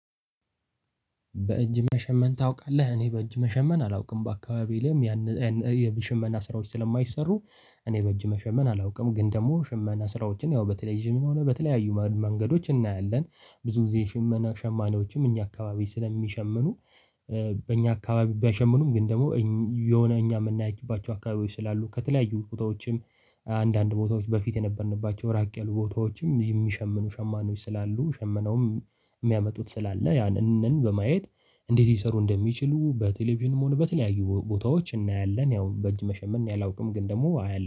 በእጅ መሸመን ታውቃለህ እኔ በእጅ መሸመን አላውቅም በአካባቢ ላይም ያን የሽመና ስራዎች ስለማይሰሩ እኔ በእጅ መሸመን አላውቅም ግን ደግሞ ሽመና ስራዎችን ያው በቴሌብዥንም ሆነ በተለያዩ መንገዶች እናያለን። ብዙ ጊዜ ሽመና ሸማኔዎችም እኛ አካባቢ ስለሚሸምኑ በእኛ አካባቢ ባይሸምኑም ግን ደግሞ የሆነ እኛ የምናይባቸው አካባቢ ውስጥ ስላሉ ከተለያዩ ቦታዎችም። አንዳንድ ቦታዎች በፊት የነበርንባቸው ራቅ ያሉ ቦታዎችም የሚሸምኑ ሸማኔዎች ስላሉ ሸምነውም የሚያመጡት ስላለ ያንን በማየት። እንዴት ሊሰሩ እንደሚችሉ በቴሌቪዥንም ሆነ በተለያዩ ቦታዎች እናያለን። ያውም በእጅ መሸመን እኔ አላውቅም ግን ደግሞ አያለሁ